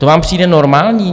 To vám přijde normální?